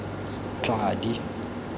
tladi